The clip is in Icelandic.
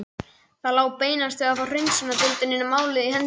Það lá beinast við að fá hreinsunardeildinni málið í hendur.